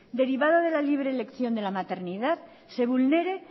derivado de la libre elección de la maternidad se vulnere